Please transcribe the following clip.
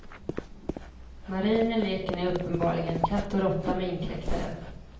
Marinen leker nu uppenbarligen katt och råtta med inkräktaren.